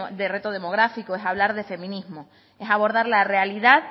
de reto demográfico es hablar de feminismo es abordar la realidad